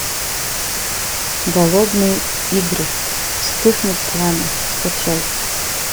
голодные игры и вспыхнет пламя скачай